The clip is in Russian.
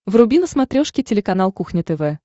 вруби на смотрешке телеканал кухня тв